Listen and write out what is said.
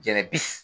Jɛnɛ bi